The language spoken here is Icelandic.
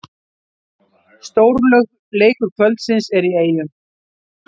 Stórleikur kvöldsins er í Eyjum